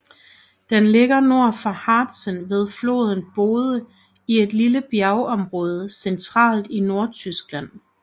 Den ligger nord for Harzen ved floden Bode i et lille bjergområde centralt i Nordtyskland